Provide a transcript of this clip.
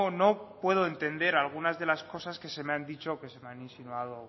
no puedo entender algunas de las cosas que se me han dicho o que se me han insinuado